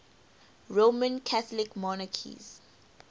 roman catholic monarchs